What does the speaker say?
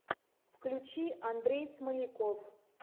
включи андрей смоляков